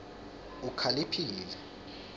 ukhaliphile